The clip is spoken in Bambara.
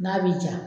N'a bi ja